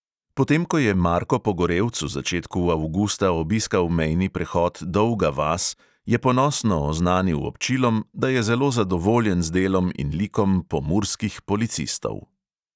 Potem ko je marko pogorevc v začetku avgusta obiskal mejni prehod dolga vas, je ponosno oznanil občilom, da je zelo zadovoljen z delom in likom pomurskih policistov.